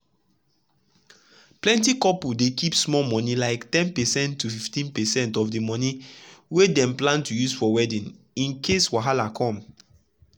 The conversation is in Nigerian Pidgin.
plenty couples dey keep small monie like ten percent to 15 percent of de money wey dem plan to use for wedding in case wahala come.